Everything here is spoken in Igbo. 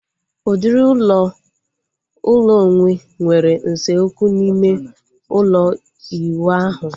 Udiri ụlọ ụlọ onwe nwere usekwu na ịme ụlọ iwu ahu